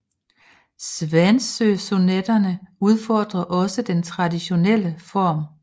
Svanesøsonetterne udfordrer også den traditionelle form